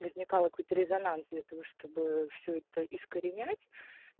возникал какой то резонанс для того чтобы все это искоренять